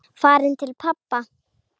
Farin til pabba.